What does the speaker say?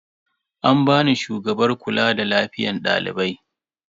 An bani shugabar kula da lafiyan dalibai.